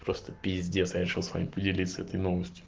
просто пиздец решил с вами поделиться этой новостью